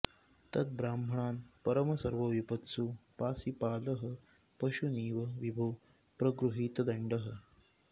तद्ब्राह्मणान् परम सर्वविपत्सु पासि पालः पशूनिव विभो प्रगृहीतदण्डः